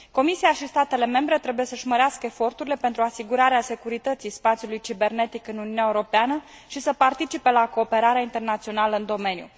Comisia și statele membre trebuie să și mărească eforturile pentru asigurarea securității spațiului cibernetic în Uniunea Europeană și să participe la cooperarea internațională în domeniu.